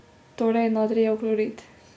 Torej natrijev klorid.